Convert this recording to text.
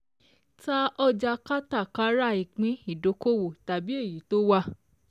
TA ỌJÀ KÁTÀKÁRÀ ÌPÍN IDOKOWO TABI EYI TO WÀ.